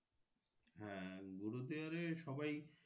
হ্যাঁ গুরুদুয়ারে সবাই।